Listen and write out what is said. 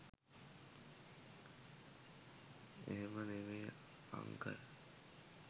එහෙම නෙමේ අංකල්